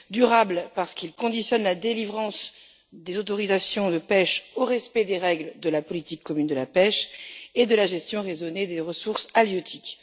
durable parce qu'il conditionne la délivrance des autorisations de pêche au respect des règles de la politique commune de la pêche et de la gestion raisonnée des ressources halieutiques